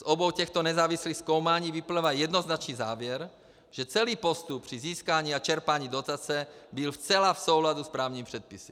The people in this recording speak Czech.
Z obou těchto nezávislých zkoumání vyplývá jednoznačný závěr, že celý postup při získání a čerpání dotace byl zcela v souladu s právními předpisy.